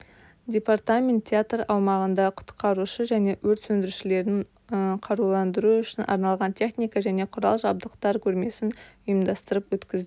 департамент театр аумағында құтқарушы және өрт сөндірушілерді қаруландыру үшін арналған техника және құрал-жабдықтар көрмесін ұйымдастырып өткізді